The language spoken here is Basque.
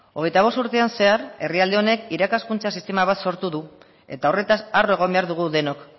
hogeita bost urtetan zehar herrialde honek irakaskuntza sistema bat sortu du eta horretaz harro egon behar dugu denok